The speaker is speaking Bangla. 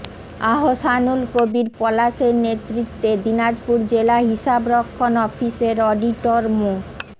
আহসানুল কবীর পলাশের নেতৃত্বে দিনাজপুর জেলা হিসাবরক্ষণ অফিসের অডিটর মো